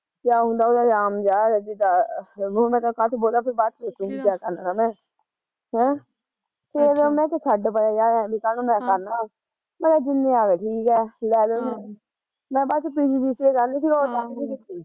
ਕਿਆ ਹੁੰਦਾ ਨਾਮ ਜਿਹਾ ਯਾਰ ਈਦਾ, ਹੁਣ ਮੈਂ ਕਾਦਏ ਚ ਬੋਲਾਂ ਫਿਰ ਬਾਦ ਚ ਦੱਸੂਗੀ ਕਿਆ ਕਰਨਾ ਤਾ ਮੈਂ ਹੈਂ ਫੇਰ ਮੈਂ ਕਿਆ ਛੱਡ ਪਤਾ ਕਾਹਨੂੰ ਮੈਂ ਐ ਕਰਨਾ ਹਮ ਮੈਂ ਕਿਹਾ ਜਿੰਨੇ ਆਗੇ ਠੀਕ ਐ, ਲੈਲੋ ਪਰਾ ਮੈਂ ਪਹਿਲਾਂ PGDCA ਕਹਿੰਦੀ ਤੀ ਫਿਰ ਮੈਂ ਤਾਂਹੀਂ ਨੀ ਕੀਤੀ ਆਹ